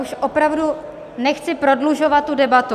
Už opravdu nechci prodlužovat tu debatu.